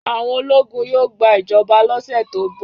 Àwọn ológun yóò gba ìjọba lọ́sẹ̀ tó ń bọ̀.